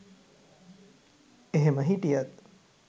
එහෙම හිටියත්